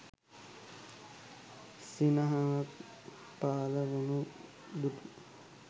සිනහවක් පහළ වනු දුටු